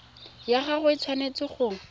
ya gago e tshwanetse go